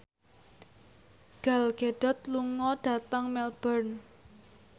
Gal Gadot lunga dhateng Melbourne